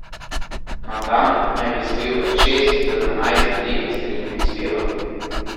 Na dan naj bi spil od šest do dvanajst velikih steklenic piva.